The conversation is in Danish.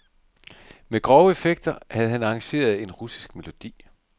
Med grove effekter havde han arrangeret en russisk melodi.